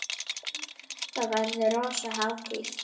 Þá verður rosa hátíð!